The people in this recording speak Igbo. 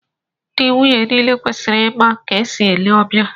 Ndị nwunye niile kwesịrị ịma ka e si ele ọbịa